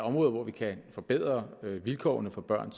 områder hvor vi kan forbedre vilkårene for børn